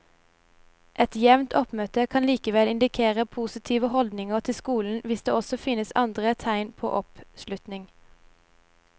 Et jevnt oppmøte kan likevel indikere positive holdninger til skolen hvis det også finnes andre tegn på oppslutning.